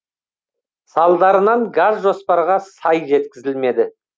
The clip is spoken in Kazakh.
салдарынан газ жоспарға сай жеткізілмеді